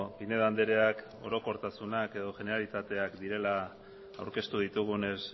pinedo andreak orokortasuna edo generalitateak direla aurkeztu ditugunez